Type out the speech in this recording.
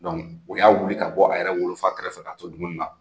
Donc o y'a wuli ka bɔ a yɛrɛ wolofa kɛrɛfɛ fɛ k'a to dumuni na!